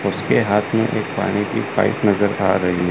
उसके हाथ में एक पानी की एक पाईप नजर आ रही है।